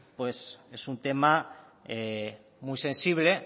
es un tema muy sensible